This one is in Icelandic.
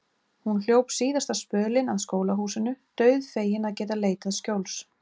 Hún hljóp síðasta spölinn að skólahúsinu, dauðfegin að geta leitað skjóls.